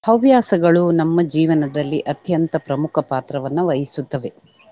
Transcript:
ಹವ್ಯಾಸಗಳು ನಮ್ಮ ಜೀವನದಲ್ಲಿ ಅತ್ಯಂತ ಪ್ರಮುಖ ಪಾತ್ರವನ್ನ ವಹಿಸುತ್ತವೆ.